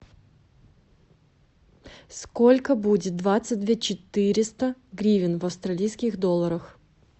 сколько будет двадцать две четыреста гривен в австралийских долларах